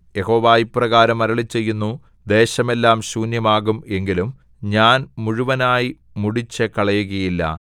യഹോവ ഇപ്രകാരം അരുളിച്ചെയ്യുന്നു ദേശമെല്ലാം ശൂന്യമാകും എങ്കിലും ഞാൻ മുഴുവനായി മുടിച്ചുകളയുകയില്ല